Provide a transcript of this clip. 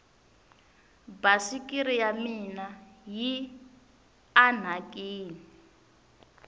basikiri ya mina yi anhakini